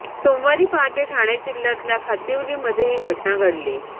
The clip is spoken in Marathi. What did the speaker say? सोमवारी पहाटे ठाणे जिल्ह्यातल्या खातिवलीमध्ये ही घटना घडली